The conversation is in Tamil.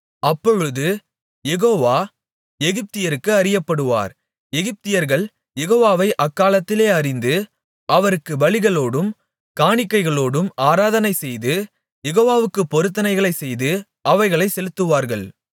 அப்பொழுது யெகோவா எகிப்தியருக்கு அறியப்படுவார் எகிப்தியர்கள் யெகோவாவை அக்காலத்திலே அறிந்து அவருக்குப் பலிகளோடும் காணிக்கைகளோடும் ஆராதனைசெய்து யெகோவாவுக்குப் பொருத்தனைகளைச் செய்து அவைகளைச் செலுத்துவார்கள்